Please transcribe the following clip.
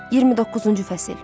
29-cu fəsil.